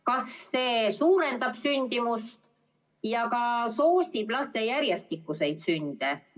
Kas see suurendab sündimust ja ka soosib laste järjestikuseid sünde?